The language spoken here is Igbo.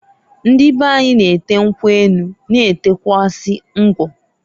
Ndị beanyi na-ete nkwu enu, na etekwuazị ngwọ.